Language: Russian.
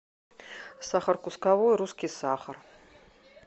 сахар кусковой русский сахар